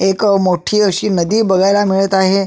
एक मोठी अशी नदी बघायला मिळत आहे.